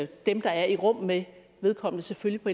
dem der er i rum med vedkommende selvfølgelig på